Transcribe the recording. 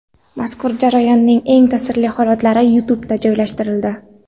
Mazkur jarayonning eng ta’sirli holatlari YouTube’ga joylashtirildi .